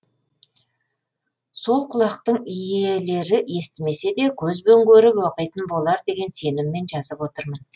сол құлақтың иелері естімесе де көзбен көріп оқитын болар деген сеніммен жазып отырмын